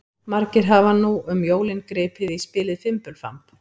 Margir hafa nú um jólin gripið í spilið Fimbulfamb.